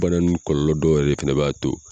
Bana ninnu kɔlɔlɔ dɔw yɛrɛ fɛnɛ b'a to